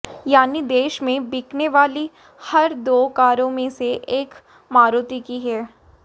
यानी देश में बिकने वाली हर दो कारों में से एक मारुति की है